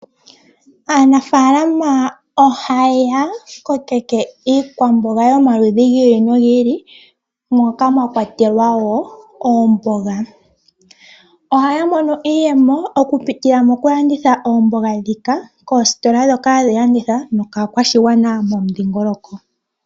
Aanafalama ohaya kokeke iikwamboga yomaludhi gi ili no gi ili, moka mwa kwatelwa wo oomboga. Ohaya mono iiyemo okupitila moku landitha oomboga dhika, koositola ndhoka hadhi landitha nokaa kwashigwana momu dhingoloko.